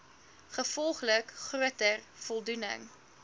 gevolglik groter voldoening